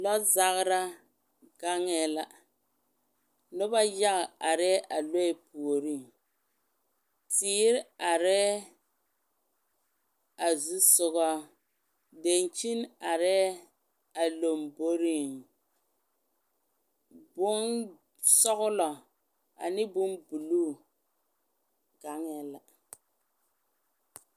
Lɔɔ zagera gaŋɛ la, noba yaga are a lɔɛ puoriŋ teere are a zu soga, dankyine are a lamboriŋ bonsɔglɔ ane bon buluu gaŋɛ la,